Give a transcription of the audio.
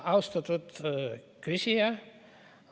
Austatud küsija!